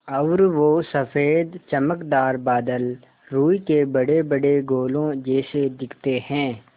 और वो सफ़ेद चमकदार बादल रूई के बड़ेबड़े गोलों जैसे दिखते हैं